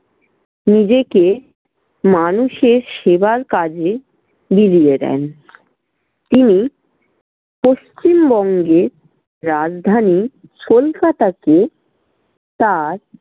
নিজেকে মানুষের সেবার কাজে বিলিয়ে দেন। তিনি পশ্চিমবঙ্গের রাজধানী কলকাতাকে তার